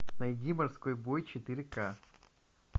найди морской бой четыре ка